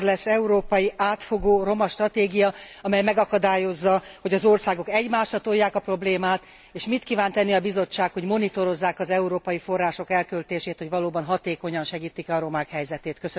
Mikor lesz európai átfogó roma stratégia, amely megakadályozza, hogy az országok egymásra tolják a problémát, és mit kíván tenni a Bizottság, hogy monitorozzák az európai források elköltését, hogy valóban hatékonyan segítik e a romák helyzetét?